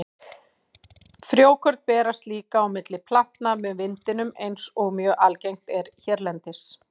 Frjókorn berast líka á milli plantna með vindinum eins og mjög algengt er hérlendis.